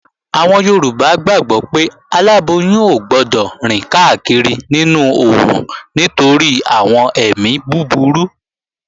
Àwọn Yorùbá gbàgbó pé aláboyún ò gbọdọ̀ rìn káàkiri nínú oòrùn nítorí àwọn èmi búburú